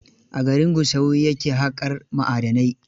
A garin Gusau ya ke haƙar ma'adanai.